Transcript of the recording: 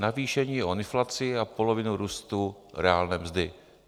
Navýšení o inflaci a polovinu růstu reálné mzdy.